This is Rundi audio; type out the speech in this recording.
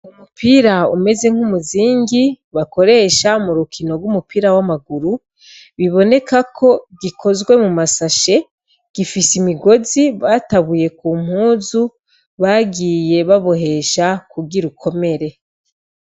Umupira umeze nk’umuzingi bakoresha murukino rwumupira w'amaguru, bibonekako gikozwe mumasashe gifise imigozi batabuye k’umpuzu bagiye babohesha kugira ukomere.